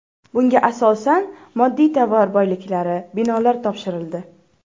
Bunga asosan moddiy-tovar boyliklari, binolar topshirildi.